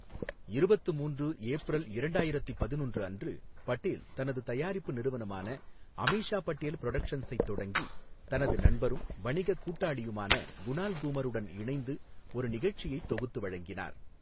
இருபத்து மூன்று ஏப்ரல் இரண்டாயிரத்து பதினொன்று அன்று, படேல் தனது தயாரிப்பு நிறுவனமான அமீஷா படேல் புரொடக்ஷன்ஸைத் தொடங்கி, தனது நண்பரும் வணிக கூட்டாளியுமான குனால் கூமருடன் இணைந்து ஒரு நிகழ்ச்சியை தொகுத்து வழங்கினார்.